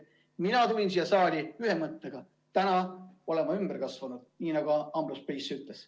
Mina tulin siia saali ühe mõttega: täna olen ümber kasvanud, nii nagu Ambrose Bierce ütles.